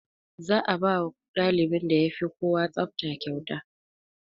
Za a bawa ɗalibin da yafi kowa tsafta kyauta